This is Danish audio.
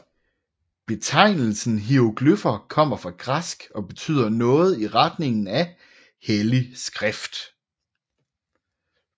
Betegnelsen hieroglyffer kommer fra græsk og betyder noget i retningen af hellig skrift